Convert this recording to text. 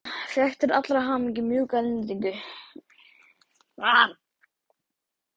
Fékk til allrar hamingju mjúka lendingu.